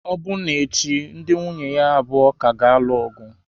Ọbụna echi ndị nwunye ya abụọ ka ga-alụ ọgụ.